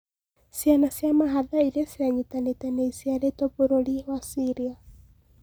Cĩana cia mahatha iria cianyitanĩte nĩ iciaretwo bũrũri wa Ciria